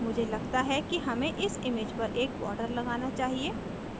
मुझे लगता है कि हमें इस image पर एक border लगाना चाहिए